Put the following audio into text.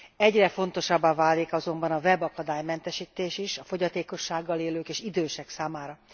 Egyre fontosabbá válik azonban a web akadálymentesítés is a fogyatékossággal élők és idősek számára.